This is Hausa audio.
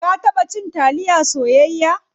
Ka taba cin taliya soyayya?